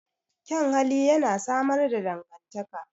Kyan hali yana samar da dangantaka.